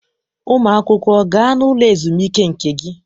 Ụmụ akwụkwọ, gaa n'ụlọ ezumike nke gị.